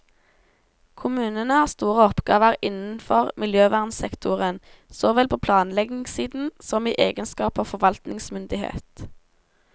Kommunene har store oppgaver innenfor miljøvernsektoren, såvel på planleggingssiden, som i egenskap av forvaltningsmyndighet.